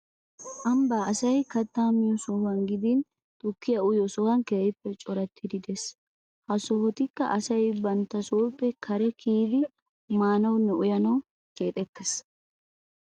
Ambban asay kattaa miyo sohuwa gidin tukkiya uyiyo sohoy keehippe corattidi de'ees. Ha sohotikka asay banttasooppe kare kiyidi maanawunne uyanawu keexettiis.